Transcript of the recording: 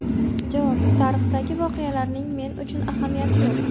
Javob: Tarixdagi voqealarning men uchun ahamiyati yo‘q.